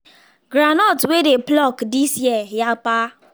groundnut wey dey pluck this year yapa